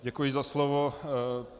Děkuji za slovo.